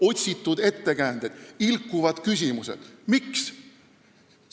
Otsitud ettekäänded, ilkuvad küsimused – miks?